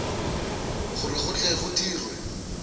gore go tle go dirwe